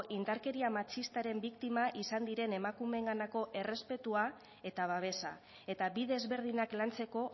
indarkeria matxistaren biktima izan diren emakumeenganako errespetua eta babesa eta bi desberdinak lantzeko